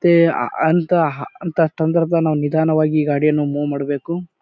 ತೆ ಆ ಅಂತ ಹ ಅಂತ ಸಂದರ್ಭದಲ್ಲಿ ನಿಧಾನವಾಗಿ ಗಾಡಿಯನ್ನು ಮೂವ್ ಮಾಡಬೇಕು.